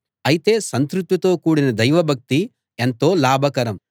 అయితే సంతృప్తితో కూడిన దైవభక్తి ఎంతో లాభకరం